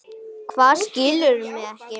Hvað, skilurðu mig ekki?